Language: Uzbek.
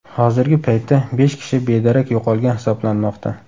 Hozirgi paytda besh kishi bedarak yo‘qolgan hisoblanmoqda.